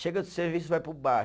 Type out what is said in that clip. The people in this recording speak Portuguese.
Chega do serviço, vai para o bar.